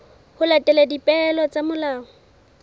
ho latela dipehelo tsa molao